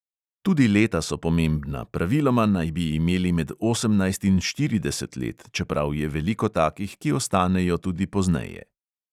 Tudi leta so pomembna, praviloma naj bi imeli med osemnajst in štirideset let, čeprav je veliko takih, ki ostanejo tudi pozneje.